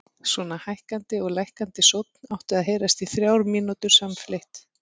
Svona hækkandi og lækkandi sónn átti að heyrast í þrjár mínútur samfleytt.